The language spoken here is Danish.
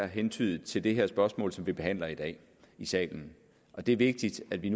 hentydet til det her spørgsmål som vi behandler i dag i salen det er vigtigt at vi